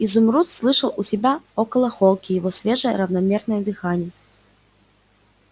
изумруд слышал у себя около холки его свежее равномерное дыхание